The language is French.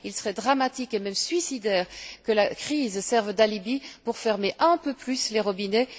Il serait dramatique, et même suicidaire, que la crise serve d'alibi pour fermer un peu plus les robinets.